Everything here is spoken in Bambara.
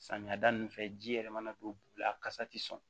Samiya da nunnu fɛ ji yɛrɛ mana don a kasa tɛ sɔn